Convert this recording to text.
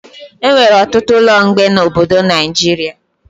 Enwere ọtụtụ ụlọ mgbe na obodo Naijiria